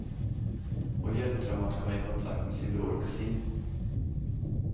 Och hjälpte dem att komma i kontakt med sin bror och kusin.